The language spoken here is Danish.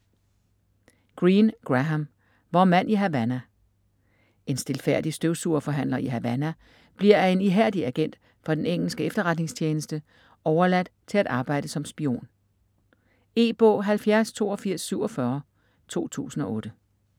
Greene, Graham: Vor mand i Havana En stilfærdig støvsugerforhandler i Havana bliver af en ihærdig agent for den engelske efterretningstjeneste overtalt til at arbejde som spion. E-bog 708247 2008.